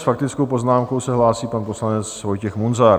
S faktickou poznámkou se hlásí pan poslanec Vojtěch Munzar.